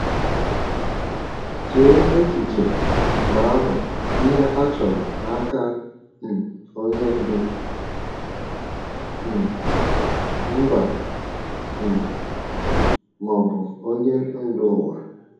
Chee echiche, mgbe ahụ, ihe a chọrọ n’aka um onye ndu um mba um ma ọ bụ onye ndu ụwa!